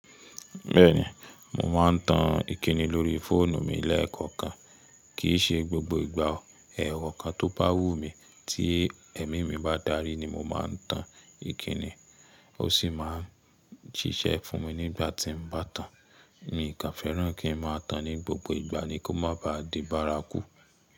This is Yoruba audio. Bẹ́ẹ̀ni, mo máa ń tan ìkínni lórí fóònù mi lẹ́ẹ̀koọ̀kan. Kìí ṣe gbogbo ìgbà o. Ẹ̀ẹ̀kọokan tó bá wù mí tí ẹ̀mí mi bá darí ni mo máa ń tan ìkínni, ó sì máa ń ṣiṣẹ́ fún mi nígbà tì n bá tàn. Nkàn fẹ́rán kí ń máa tàn ní gbogbo ìgbà ni kó má baa di bárakú.